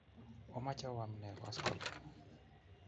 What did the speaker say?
Omache oam nee koskoling'?